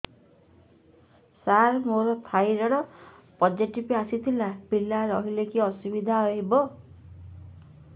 ସାର ମୋର thyroid positive ଆସିଥିଲା ପିଲା ରହିଲେ କି ଅସୁବିଧା ହେବ